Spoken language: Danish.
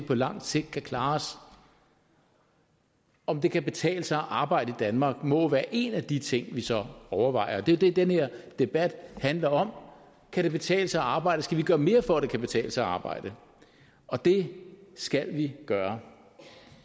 på lang sigt kan klare os om det kan betale sig at arbejde i danmark må være en af de ting vi så overvejer og det er jo det den her debat handler om kan det betale sig at arbejde skal vi gøre mere for at det kan betale sig at arbejde og det skal vi gøre